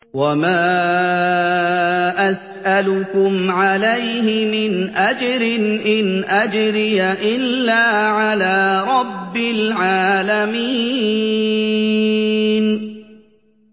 وَمَا أَسْأَلُكُمْ عَلَيْهِ مِنْ أَجْرٍ ۖ إِنْ أَجْرِيَ إِلَّا عَلَىٰ رَبِّ الْعَالَمِينَ